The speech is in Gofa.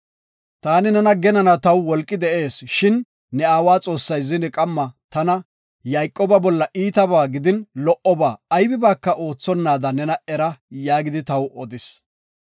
Taani nena genanaw taw wolqi de7ees shin ne aawa Xoossay zine qamma tana, ‘Yayqooba bolla iitaba gidin lo77oba aybibaaka odetonaada nena era’ yaagidi taw odis.